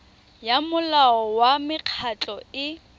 ya molao wa mekgatlho e